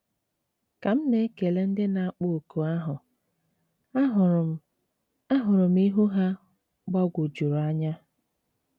Ka m na-ekele ndị na-akpọ oku ahụ, ahụrụ m ahụrụ m ihu ha gbagwojuru anya.